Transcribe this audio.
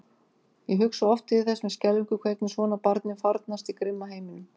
Ég hugsa oft til þess með skelfingu hvernig svona barni farnast í grimma heiminum.